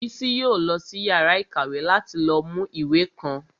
Bísí yóò lọ sí yàrá ìkàwé láti lọ mú ìwé kan